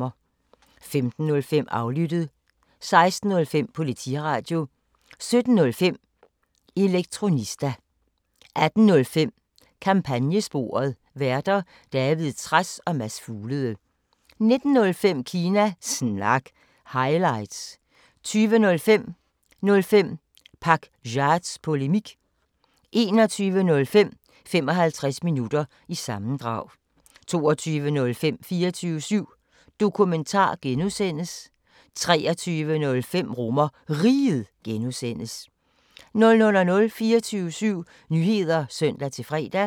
15:05: Aflyttet 16:05: Politiradio 17:05: Elektronista 18:05: Kampagnesporet: Værter: David Trads og Mads Fuglede 19:05: Kina Snak – highlights 20:05: 05 Pakzads Polemik 21:05: 55 Minutter – sammendrag 22:05: 24syv Dokumentar (G) 23:05: RomerRiget (G) 00:00: 24syv Nyheder (søn-fre)